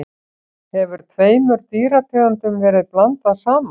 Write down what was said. hefur tveimur dýrategundum verið blandað saman